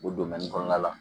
O kɔnɔna la